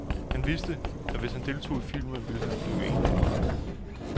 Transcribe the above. Han vidste, at hvis han deltog i filmen, ville han blive en blandt mange.